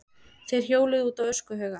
Þeir hjóluðu út á öskuhauga.